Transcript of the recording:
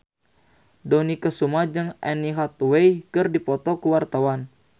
Dony Kesuma jeung Anne Hathaway keur dipoto ku wartawan